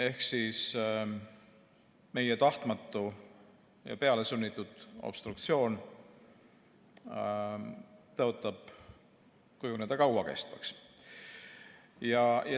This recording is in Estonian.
Ehk meie tahtmatu ja pealesunnitud obstruktsioon tõotab kujuneda kauakestvaks.